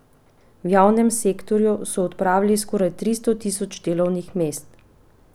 V javnem sektorju so odpravili skoraj tristo tisoč delovnih mest.